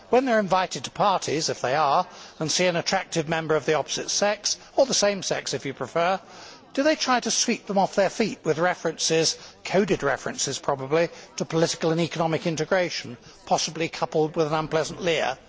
When they are invited to parties if they are and see an attractive member of the opposite sex or the same sex, if you prefer do they try to sweep them off their feet with coded references to political and economic integration, possibly coupled with an unpleasant leer?